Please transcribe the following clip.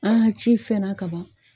An ci fɛn na ka ban.